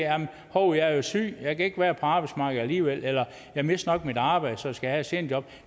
hov jeg er syg jeg kan ikke være på arbejdsmarkedet alligevel eller jeg mister nok mit arbejde så jeg skal have et seniorjob